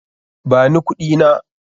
Ba ni kuɗina!